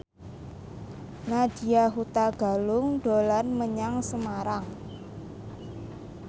Nadya Hutagalung dolan menyang Semarang